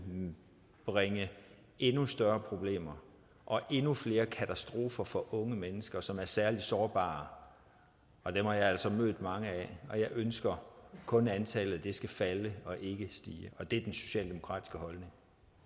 bringe endnu større problemer og endnu flere katastrofer for unge mennesker som er særligt sårbare og dem har jeg altså mødt mange af og jeg ønsker kun at antallet skal falde og ikke stige det er den socialdemokratiske holdning